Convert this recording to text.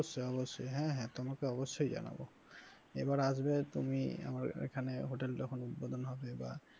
অবশ্যই অবশ্যই হ্যাঁ হ্যাঁ তোমাকে অবশ্যই জানাবো এবার আসবে তুমি আমার এখানে hotel টা যখন উদ্বোধন হবে বা,